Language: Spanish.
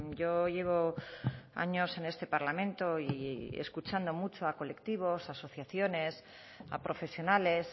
yo llevo años en este parlamento y escuchando mucho a colectivos asociaciones a profesionales